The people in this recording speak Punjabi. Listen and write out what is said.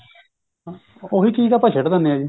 ਉਹੀ ਚੀਜ ਆਪਾਂ ਸਿੱਟ ਦੇਂਦੇ ਆ ਜੀ